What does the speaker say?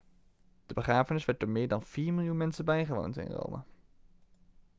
de begrafenis werd door meer dan vier miljoen mensen bijgewoond in rome